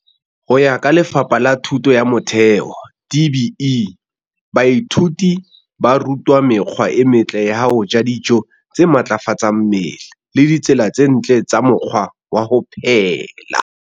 Ho ya ka Lefapha la Thuto ya Motheo, DBE, baithuti ba rutwa mekgwa e metle ya ho ja dijo tse matlafatsang mmele le ditsela tse ntle tsa mokgwa wa ho phela.